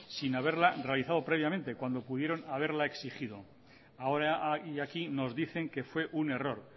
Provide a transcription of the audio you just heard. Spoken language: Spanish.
sin haberla realizado previamente cuando pudieron haberla exigido ahora y aquí nos dicen que fue un error